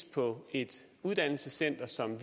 på et uddannelsescenter som